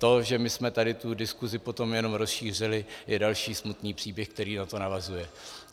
To, že my jsme tady tu diskusi potom jenom rozšířili, je další smutný příběh, který na to navazuje.